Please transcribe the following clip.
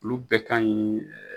Olu bɛɛ ka ɲi